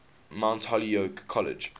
mount holyoke college